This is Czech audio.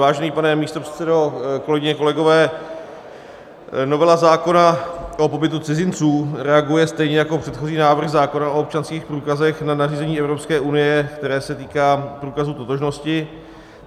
Vážený pane místopředsedo, kolegyně, kolegové, novela zákona o pobytu cizinců reaguje stejně jako předchozí návrh zákona o občanských průkazech na nařízení Evropské unie, které se týká průkazů totožnosti.